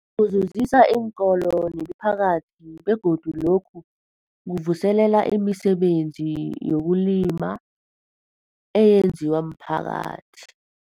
Kuzuzisa iinkolo nemiphakathi begodu lokhu kuvuselela imisebenzi yezokulima eyenziwa miphakathi.